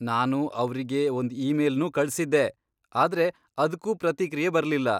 ನಾನು ಅವ್ರಿಗೆ ಒಂದ್ ಈಮೇಲ್ನೂ ಕಳ್ಸಿದ್ದೆ, ಆದ್ರೆ ಅದ್ಕೂ ಪ್ರತಿಕ್ರಿಯೆ ಬರ್ಲಿಲ್ಲ.